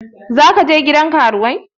Za ka je gidan karuwai?